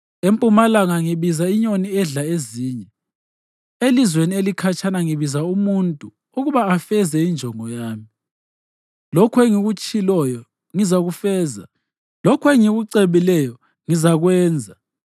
Empumalanga ngibiza inyoni edla ezinye; elizweni elikhatshana ngibiza umuntu ukuba afeze injongo yami. Lokho engikutshiloyo ngizakufeza; lokho engikucebileyo ngizakwenza.